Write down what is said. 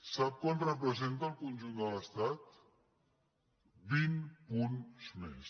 sap quant representa al conjunt de l’estat vint punts més